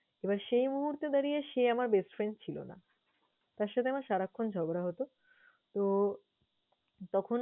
এবার সেই মুহূর্তে দাঁড়িয়ে সে আমার best friend ছিল না। তার সাথে আমার সারাক্ষন ঝগড়া হতো। তো তখন